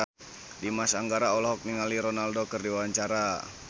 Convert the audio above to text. Dimas Anggara olohok ningali Ronaldo keur diwawancara